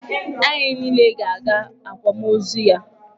Anyị niile ga-aga akwamozu ya.